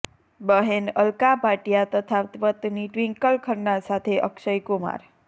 બહેન અલ્કા ભાટિયા તથા પત્ની ટ્વિંકલ ખન્ના સાથે અક્ષય કુમાર